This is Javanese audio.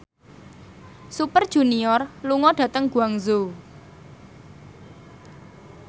Super Junior lunga dhateng Guangzhou